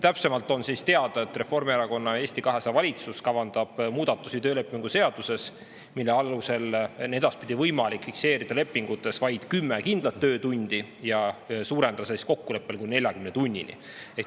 On teada, et Reformierakonna ja Eesti 200 valitsus kavandab muudatusi töölepingu seaduses, mille alusel on edaspidi võimalik fikseerida lepingutes vaid 10 kindlat töötundi ja suurendada tundide arvu kokkuleppel kuni 40‑ni.